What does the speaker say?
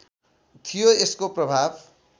थियो यसको प्रभाव